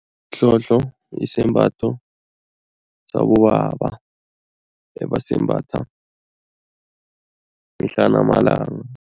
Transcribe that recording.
Ihlohlo yisembatho sabobaba ebesimbatha mihla namalanga.